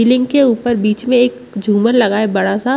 selling के ऊपर बीच में एक झूमर लगा है बड़ा सा--